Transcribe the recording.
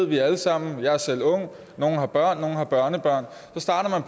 vi alle sammen jeg er selv ung nogle har børn nogle har børnebørn